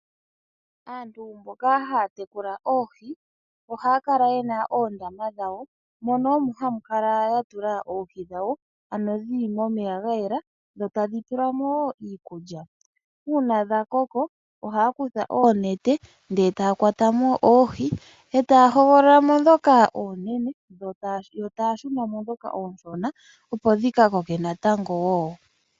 Aantu mboka haya tekula oohi ohaya kala ye na oondama dhawo, mono omo haya kala ya tula oohi dhawo ano dhi li momeya ga yela, dho tadhi pelwa mo wo iikulya. Uuna dha koko ohaya kutha oonete e taya kwata oohi, e taya hogolola mo ndhoka oonene, yo taya shuna mo ndhoka oonshona opo dhi ka koke natango wo.